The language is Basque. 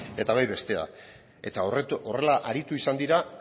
eta bai bestea eta horrela aritu izan dira